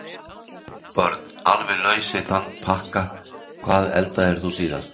Börn: Alveg laus við þann pakka Hvað eldaðir þú síðast?